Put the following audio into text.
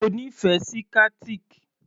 O nífẹ̀ẹ́ sí Qatiq?